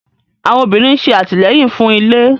Àwọn obìnrin ṣe atilẹyin fún ilé